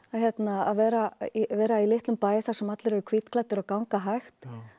að vera vera í litlum bæ þar sem allir eru hvítklæddir og ganga hægt